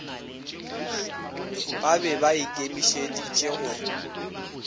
ba be ba ikemišeditše go